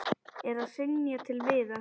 Er að hrynja til viðar.